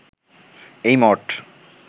এই মঠ